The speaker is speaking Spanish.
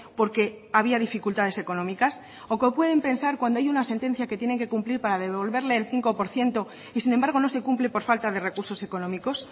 porque había dificultades económicas o qué pueden pensar cuando hay una sentencia que tienen que cumplir para devolverle el cinco por ciento y sin embargo no se cumple por falta de recursos económicos